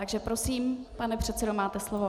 Takže prosím, pane předsedo, máte slovo.